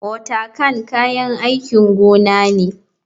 Watercan kayan aikin gona ne.